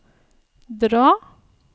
dra